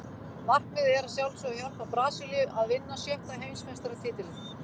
Markmiðið er að sjálfsögðu að hjálpa Brasilíu að vinna sjötta Heimsmeistaratitilinn.